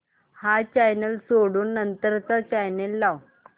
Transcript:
हा चॅनल सोडून नंतर चा चॅनल लाव